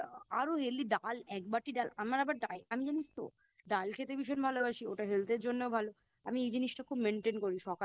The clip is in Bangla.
আরো ডাল এক বাটি ডাল আমার আবার Diet আমি জানিস তো ডাল খেতে ভীষণ ভালোবাসি ওটা Health এর জন্যেও ভালো আমি এই জিনিসটা খুব Maintain করি সকালে